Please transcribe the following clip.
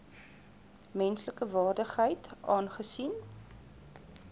menslike waardigheid aangesien